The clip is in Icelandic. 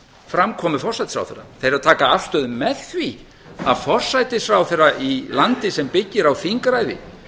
framkomu forsætisráðherra þeir eru að taka afstöðu með því að forsætisráðherra í landi sem byggir á þingræði